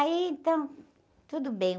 Aí, então, tudo bem.